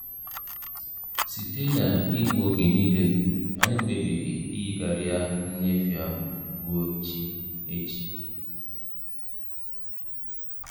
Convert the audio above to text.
Site na igbu oge niile, anyị kpebiri iyigharịa nnyefe ahụ ruo echi. echi.